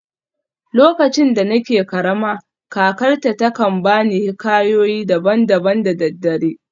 Lokacin da nake karama, kakarta ta kan ba ni hikayoyi daban-daban da daddare.